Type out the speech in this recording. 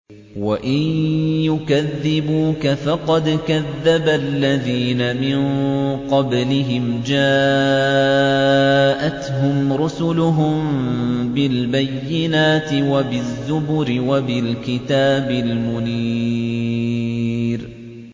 وَإِن يُكَذِّبُوكَ فَقَدْ كَذَّبَ الَّذِينَ مِن قَبْلِهِمْ جَاءَتْهُمْ رُسُلُهُم بِالْبَيِّنَاتِ وَبِالزُّبُرِ وَبِالْكِتَابِ الْمُنِيرِ